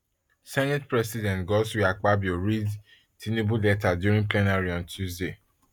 senate president godswill akpabio read tinubu letter during plenary on tuesday